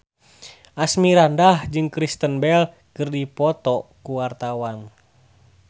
Asmirandah jeung Kristen Bell keur dipoto ku wartawan